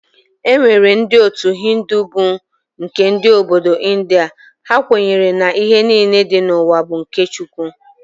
E nwere ndị otu Hindi bụ nke ndị Obodo India, ha kwenyere na ihe niile dị n'ụwa bụ nke Chukwu.